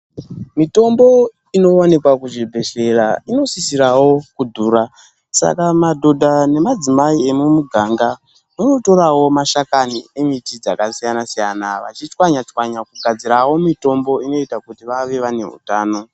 Mitombo inowanikwa kuzvibhedhleya inosisira kudhura saka madhodha nemadzimai emumuganga vanotorawo mashakani nemidzi dzakasiyana siyana vachitswanya tswanya kugadzirawo mitombo inoita kuti vave vane utano.